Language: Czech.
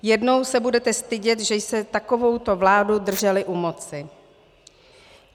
Jednou se budete stydět, že jste takovouto vládu drželi u moci.